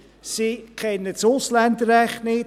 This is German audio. Sie kennen das Ausländerrecht nicht;